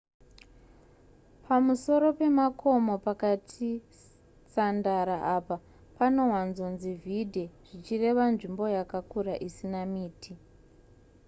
pamusoro pemakomo pakati sandara apa panowanzonzi vidde zvichireva nzvimbo yakakura isina miti